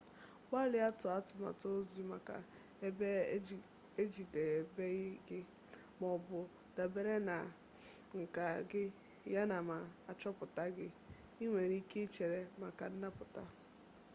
gbalịa tụọ atụmatụ ọzọ maka ebe ejidebeghi gị maọbụ dabere na nka gị yana ma achọpụtala gị ị nwere ike ịchere maka nnapụta